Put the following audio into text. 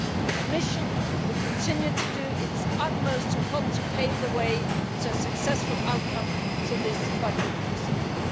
The Commission will continue to do its utmost to help to pave the way for a successful outcome to this budget procedure.